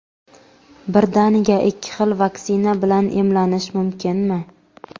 Birdaniga ikki xil vaksina bilan emlanish mumkinmi?.